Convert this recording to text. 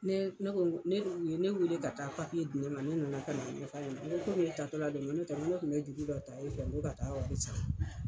Ne ne ko ne o ye ne weele ka taa di ne ma ne nana ka n'a ɲɛfɔ a ɲɛnɛ n ko e taatɔ la do n ko n'o tɛ ne kun bɛ juru dɔ e fɛ n ko ka taa wari sara.